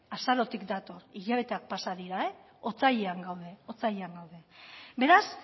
azarotik dator hilabeteak pasa dira otsailean gaude otsailean gaude beraz